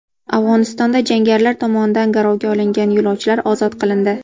Afg‘onistonda jangarilar tomonidan garovga olingan yo‘lovchilar ozod qilindi.